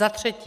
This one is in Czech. Za třetí.